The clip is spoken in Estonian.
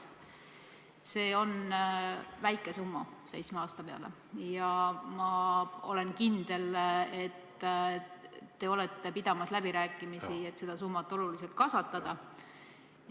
See on seitsme aasta kohta väike summa ja ma olen kindel, et te olete asunud pidama läbirääkimisi, et seda summat oluliselt kasvatada.